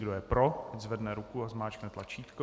Kdo je pro, ať zvedne ruku a zmáčkne tlačítko.